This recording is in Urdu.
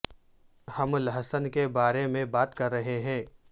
ہم لہسن کے بارے میں بات کر رہے ہیں